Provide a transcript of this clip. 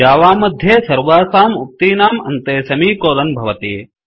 Java मध्ये सर्वासाम् उक्तीनां अन्ते सेमिकोलन भवति